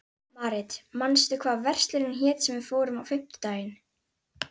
Marit, manstu hvað verslunin hét sem við fórum í á fimmtudaginn?